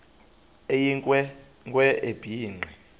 eyinkwe nkwe ebhinqe